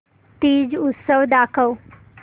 तीज उत्सव दाखव